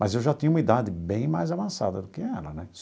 Mas eu já tinha uma idade bem mais avançada do que ela, né?